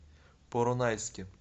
поронайске